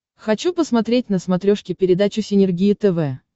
хочу посмотреть на смотрешке передачу синергия тв